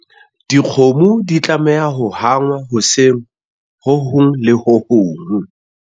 dikgomo di tlameha ho hangwa hoseng ho hong le ho hong